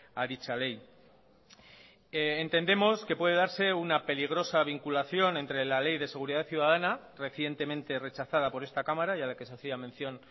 a dicha ley entendemos que se puede darse una peligrosa vinculación entre la ley de seguridad ciudadana recientemente rechazada por esta cámara y a la que se hacía mención